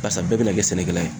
Barisa bɛɛ bena kɛ sɛnɛkɛla ye